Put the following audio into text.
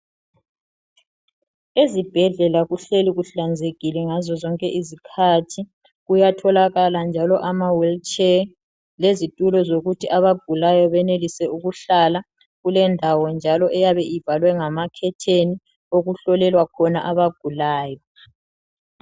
Ezibhedlela kuhleli kuhlanzekile ngazo zonke izikhathi. Kuyatholakala njalo amawheelchair. Lezitulo zokuthi abagulayo, benelise ukuhlala. Kulendawo njalo, eyabe ivalwe ngamakhetheni, okuhlolelwa khona abagulayo.